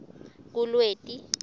kulweti